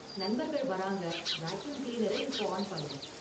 நண்பர்கள் வராங்க வாக்யூம் கிளீனர இப்போ ஆன் பண்ணு